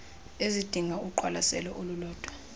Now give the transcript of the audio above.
ezidinga uqwalaselo olulodwa